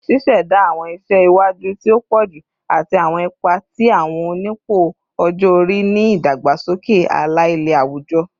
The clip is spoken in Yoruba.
Ṣiṣẹda awọn iṣẹ iwaju ti o pọju ati awọn ipa ti awọn onipò ọjọ-ori ni idagbasoke ala-ilẹ awujọ